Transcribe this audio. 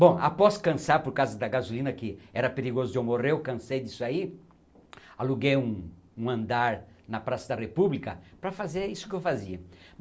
Bom, após cansar por causa da gasolina, que era perigoso de eu morrer, eu cansei disso aí, aluguei um um andar na Praça da República para fazer isso que eu fazia.